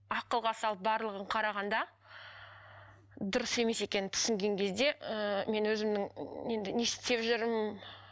ақылға салып барлығын қарағанда дұрыс емес екенін түсінген кезде ыыы мен өзімнің енді не істеп жүрмін